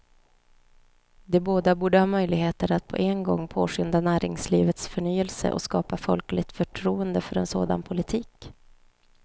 De båda borde ha möjligheter att på en gång påskynda näringslivets förnyelse och skapa folkligt förtroende för en sådan politik.